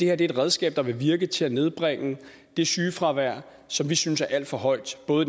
er et redskab der vil virke til at nedbringe det sygefravær som vi synes er alt for højt både